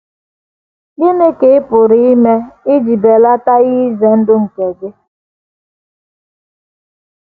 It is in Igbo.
Gịnị ka ị pụrụ ime iji belata ihe ize ndụ nke gị?